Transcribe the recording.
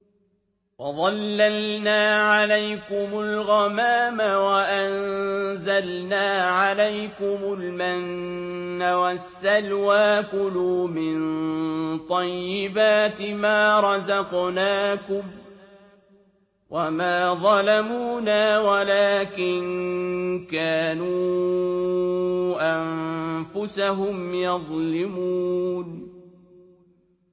وَظَلَّلْنَا عَلَيْكُمُ الْغَمَامَ وَأَنزَلْنَا عَلَيْكُمُ الْمَنَّ وَالسَّلْوَىٰ ۖ كُلُوا مِن طَيِّبَاتِ مَا رَزَقْنَاكُمْ ۖ وَمَا ظَلَمُونَا وَلَٰكِن كَانُوا أَنفُسَهُمْ يَظْلِمُونَ